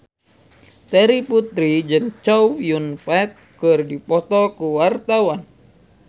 Terry Putri jeung Chow Yun Fat keur dipoto ku wartawan